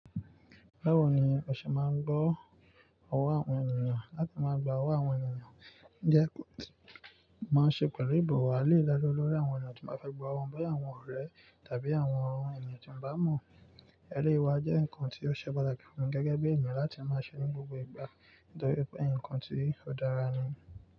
Báwo ni o ṣe máa ń gbọ́ ọwọ́ àwọn ènìyàn? Láti máa gba owó àwọn ènìyàn jẹ́ kó má ṣe pẹ̀lú ìbọ̀wọ̀ àì le dá lóore àwọn ènìyàn tí wàá fẹ́ gba owó, bóyá àwọn ọ̀rẹ́ tàbí àwọn ènìyàn tí ń bá mọ̀. Ẹleyii wa jẹ́ nǹkan tí ó ṣe pàtàkì fún gẹ́gẹ́ bí ènìyàn láti máa ṣe ní gbogbo ìgbà, nítorí pé nǹkan tí ó dára ni.